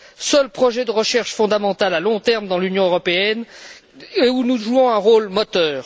seul projet de recherche fondamentale à long terme dans l'Union européenne où nous jouons un rôle moteur.